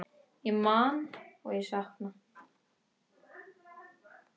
Ég man og ég sakna.